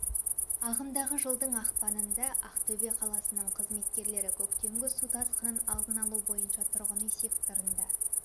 ағымдағы жылдың ақпанында ақтөбе қаласының қызметкерлері көктемгі су тасқынын алдын алу бойынша тұрғын үй секторында